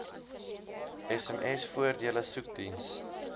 sms voordele soekdiens